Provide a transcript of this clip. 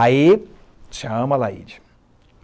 Aí chama a Laíde.